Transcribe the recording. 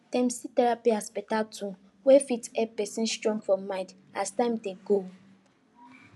dem see therapy as better tool wey fit help person strong for mind as time dey go